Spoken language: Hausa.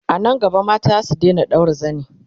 anan gaba mata zasu Daina ɗaura zani